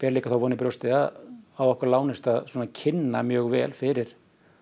líka þá von í brjósti að okkur lánist að kynna mjög vel fyrir